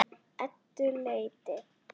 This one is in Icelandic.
Eddu létti.